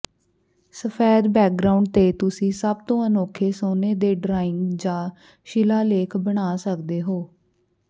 ਸਫੈਦ ਬੈਕਗ੍ਰਾਉਂਡ ਤੇ ਤੁਸੀਂ ਸਭ ਤੋਂ ਅਨੋਖੇ ਸੋਨੇ ਦੇ ਡਰਾਇੰਗ ਜਾਂ ਸ਼ਿਲਾਲੇਖ ਬਣਾ ਸਕਦੇ ਹੋ